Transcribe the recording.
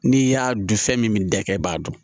N'i y'a dun fɛn min dakɛ i b'a dɔn